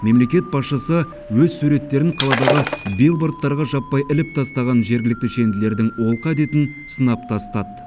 мемлекет басшысы өз суреттерін қаладағы билбордттарға жаппай іліп тастаған жергілікті шенділердің олқы әдетін сынап тастады